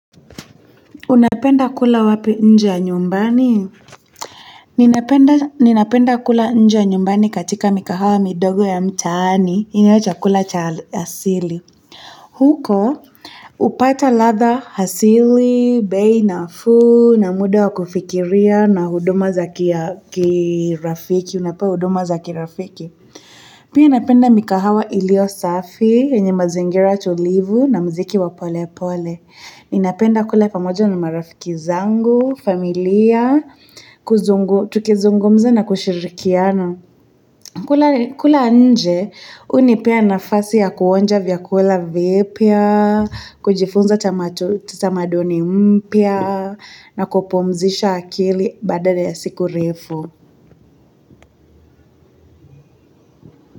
Unapenda kula wapi nje ya nyumbani? Ninapenda kula nje ya nyumbani katika mikahawa midogo ya mtaani. Nile chakula cha asili. Huko hupata ladha asili, bei nafuu, mda wa kufikiria na huduma za kirafiki. Unapewa huduma za kirafiki. Pia napenda mikahawa ilio safi, yenye mazingira tulivu, na mziki wa pole pole. Ninapenda kula pamoja na marafiki zangu, familia, tukizungumza na kushirikiana. Kula nje, hunipea nafasi ya kuonja vyakula vipya, kujifunza tamaduni mpya, na kupumzisha akili badala ya siku refu.